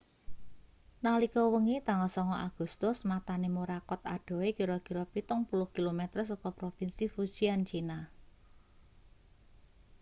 nalika wengi tanggal 9 agustus matane morakot adohe kira-kira pitung puluh kilometer saka propinsi fujian china